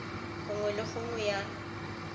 go nngwe le nngwe ya